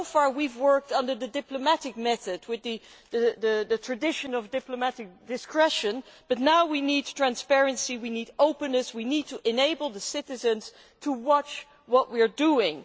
So far we have worked under the diplomatic method with the tradition of diplomatic discretion, but now we need transparency, we need openness, we need to enable citizens to watch what we are doing.